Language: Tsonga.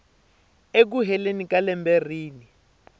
eku heleni ka lembe rin